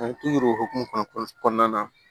An t'u hokumu kɔnɔ kɔnɔna na